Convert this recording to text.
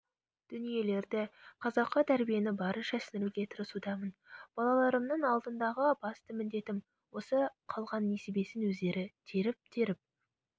дүниелерді қазақы тәрбиені барынша сіңіруге тырысудамын балаларымның алдындағы басты міндетім осы қалған несібесін өздері теріп-теріп